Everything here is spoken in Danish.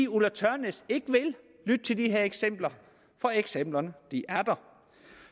ulla tørnæs ikke vil lytte til de her eksempler for eksemplerne er der